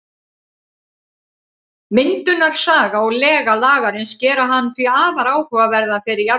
Myndunarsaga og lega Lagarins gera hann því afar áhugaverðan fyrir jarðfræðina.